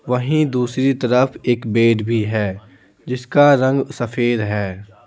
वहीं दूसरी तरफ एक बेड भी है जिसका रंग सफेद है।